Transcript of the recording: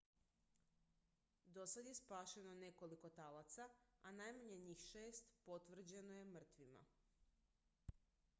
dosad je spašeno nekoliko talaca a najmanje njih šest potvrđeno je mrtvima